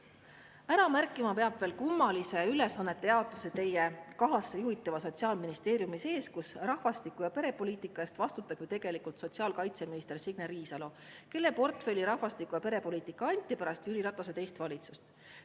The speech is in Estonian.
Ära märkima peab veel kummalise ülesannete jaotuse teie kahasse juhitava Sotsiaalministeeriumi sees, kus rahvastiku- ja perepoliitika eest vastutab tegelikult sotsiaalkaitseminister Signe Riisalo, kelle portfelli rahvastiku- ja perepoliitika anti pärast Jüri Ratase teist valitsust.